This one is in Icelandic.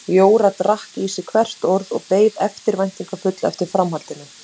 Jóra drakk í sig hvert orð og beið eftirvæntingarfull eftir framhaldinu.